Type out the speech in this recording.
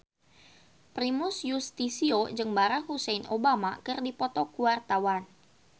Primus Yustisio jeung Barack Hussein Obama keur dipoto ku wartawan